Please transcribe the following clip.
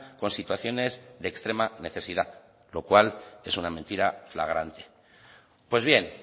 con situaciones de extrema necesidad lo cual es una mentira flagrante pues bien